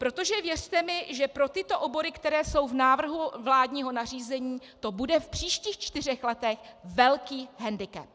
Protože věřte mi, že pro tyto obory, které jsou v návrhu vládního nařízení, to bude v příštích čtyřech letech velký hendikep.